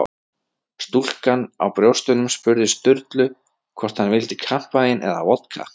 Stúlkan á brjóstunum spurði Sturlu hvort hann vildi kampavín eða vodka.